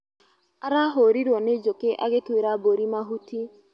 Arahũrirwo nĩ njũkĩ agĩtuira mburi mahuti.